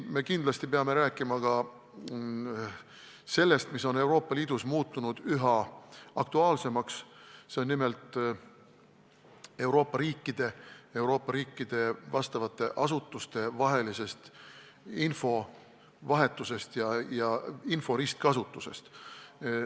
Me kindlasti peame rääkima ka sellest, mis on Euroopa Liidus muutunud üha aktuaalsemaks – nimelt, Euroopa riikide vastavate asutuste vahelisest infovahetusest ja info ristkasutusest.